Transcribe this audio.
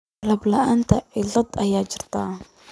Qalab la'aanta ciidda ayaa jirta.